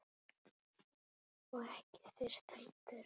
Og ekki þyrst heldur.